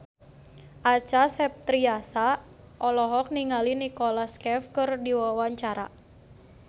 Acha Septriasa olohok ningali Nicholas Cafe keur diwawancara